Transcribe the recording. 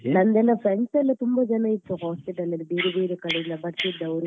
ನನ್ನ friends ಎಲ್ಲ ತುಂಬಾ ಜನ ಇದ್ರು hostel ಅಲ್ಲಿ ಬೇರೆ ಬೇರೆ ಕಡೆಯಿಂದ ಬರ್ತಿದ್ದವ್ರು .